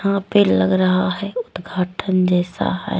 यहाँ पे लग रहा है उदघाटन जैसा है।